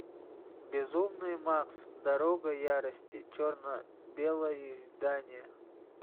безумный макс дорога ярости черно белое издание